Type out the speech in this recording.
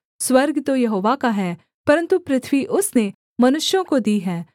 स्वर्ग तो यहोवा का है परन्तु पृथ्वी उसने मनुष्यों को दी है